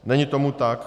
Není tomu tak.